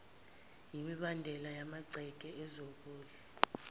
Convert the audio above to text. yimibandela yamagceke ezokudla